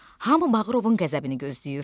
Hamı Bağırovun qəzəbini gözləyir.